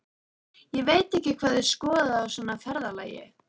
Ég veit ekki hvað þið skoðið á svona ferðalagi.